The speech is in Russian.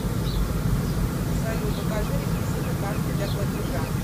салют укажи реквизиты карты для платежа